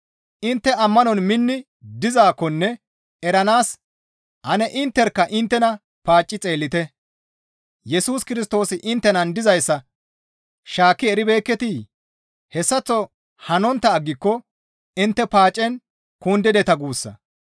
Intte ammanon minni dizaakkonne eranaas ane intterkka inttena paacci xeellite; Yesus Kirstoosi inttenan dizayssa shaakki eribeekketii? Hessaththo hanontta aggiko intte paacen kundideta guussa.